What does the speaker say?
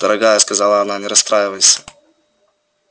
дорогая сказала она не расстраивайся